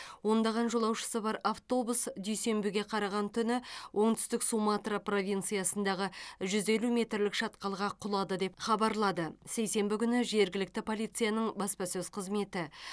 ондаған жолаушысы бар автобус дүйсенбіге қараған түні оңтүстік суматра провинциясындағы жүз елу метрлік шатқалға құлады деп хабарлады сейсенбі күні жергілікті полицияның баспасөз қызметі